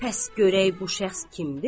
Bəs görək bu şəxs kimdir?